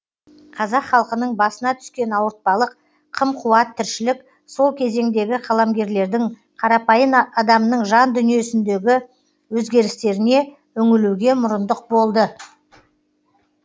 қазақ халқының басына түскен ауыртпалық қым қуат тіршілік сол кезеңдегі қаламгерлердің қарапайым адамның жан дүниесіндегі өзгерістеріне үңілуге мұрындық болды